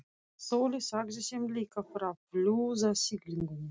Sóley sagði þeim líka frá flúðasiglingunni.